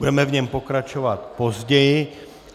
Budeme v něm pokračovat později.